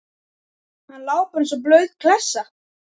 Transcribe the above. Hann lá bara og lá eins og blaut klessa.